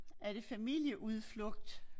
Er det familieudflugt?